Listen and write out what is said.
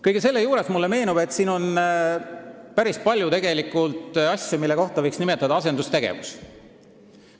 Kõige selle juures meenub mulle, et siin on päris palju asju, mille kohta võiks öelda "asendustegevus".